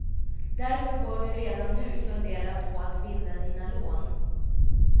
Därför bör du redan nu fundera på att binda dina lån.